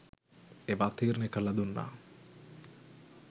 ඒවා තීරණය කරලා දුන්නා.